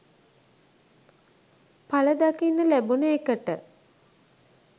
පල දකින්න ලැබුණ එකට.